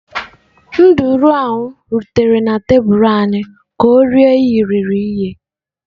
Nduru ahụ rutere na tebụl anyị ka ọ rie irighiri ihe.